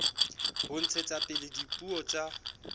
ho ntshetsa pele dipuo tsa